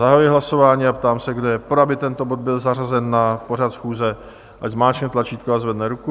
Zahajuji hlasování a ptám se, kdo je pro, aby tento bod byl zařazen na pořad schůze, ať zmáčkne tlačítko a zvedne ruku.